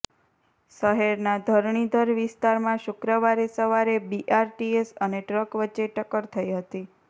શહેરના ધરણીધર વિસ્તારમાં શુક્રવારે સવારે બીઆરટીએસ અને ટ્રક વચ્ચે ટક્કર થઈ હતી